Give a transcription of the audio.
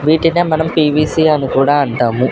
వీటినే మనం పీ_వీ_సి అని కూడా అంటాము.